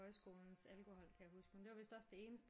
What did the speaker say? Højskolens alkohol kan jeg huske men det var vidst også det eneste